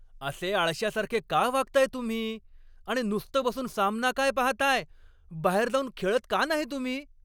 असे आळश्यासारखे का वागताय तुम्ही आणि नुसतं बसून सामना काय पाहताय? बाहेर जाऊन खेळत का नाही तुम्ही?